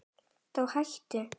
Þá hættu